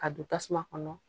Ka don tasuma kɔnɔ